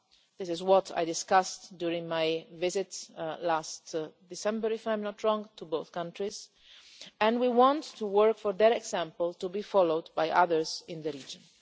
This is what I discussed during my visit last December, if I am not mistaken, to both countries and we want to work for that example to be followed by others in the region.